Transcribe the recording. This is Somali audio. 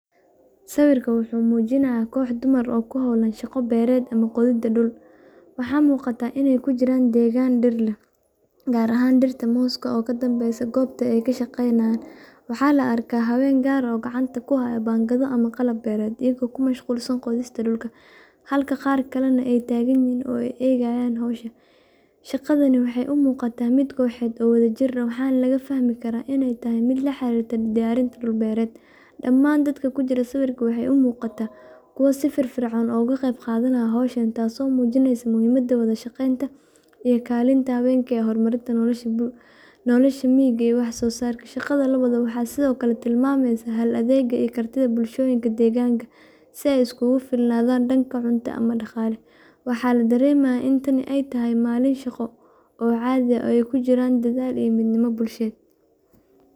Sawirka wuxuu mujinaaya dumar beeraleyda ah, waxaa la arkaa ayago gacanta kuhaaya banga, waxeey u muqataa mid koox ah, waxeey umuuqdaan kuwa si fican ushaqeyanaaya, si aay sikigu filnaadan daqala.